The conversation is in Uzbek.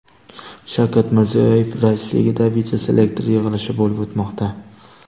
Shavkat Mirziyoyev raisligida videoselektor yig‘ilishi bo‘lib o‘tmoqda.